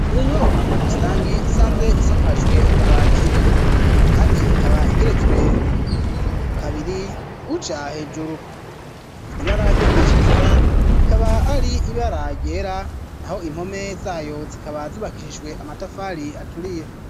Iyo nyubakwa muri rusangi isanzwe isakajwe amabati kandi ikaba igeretswe kabiri uja hejuru ibara ryo kuyishariza rikaba ari ibara ryera naho impome zayo zikaba zubakishijwe amatafari aturiye.